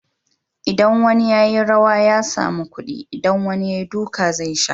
Idan wani ya yi rawa ya samu kudi, idan wani ya yi duka zai sha!